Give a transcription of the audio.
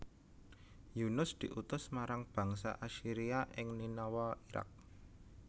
Yunus diutus marang bangsa Assyria ing Ninawa Iraq